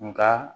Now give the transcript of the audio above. Nka